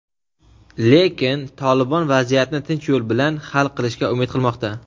lekin "Tolibon" vaziyatni tinch yo‘l bilan hal qilishga umid qilmoqda.